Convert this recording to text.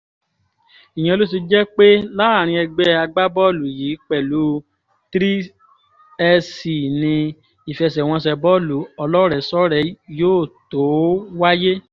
ìyẹn ló ṣe jẹ́ pé láàrin ẹgbẹ́ agbábọ́ọ̀lù yìí pẹ̀lú 3sc ni ìfẹsẹ̀wọnsẹ̀ bọ́ọ̀lù ọlọ́rẹ̀ẹ́sọ́rẹ̀ẹ́ yóò tó wáyé